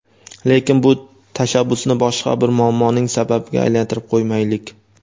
lekin bu tashabbusni boshqa bir muammoning sababiga aylantirib qo‘ymaylik.